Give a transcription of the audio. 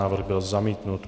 Návrh byl zamítnut.